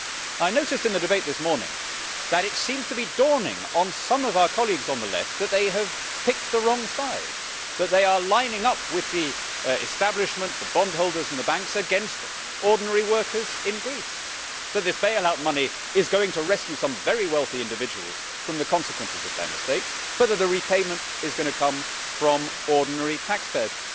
I noticed in the debate this morning that it seems to be dawning on some of our colleagues on the Left that they have picked the wrong side, that they are lining up with the establishment, the bondholders and the banks against ordinary workers in Greece, and that this bailout money is going to rescue some very wealthy individuals from the consequences of their mistakes but the repayment is going to come from ordinary taxpayers.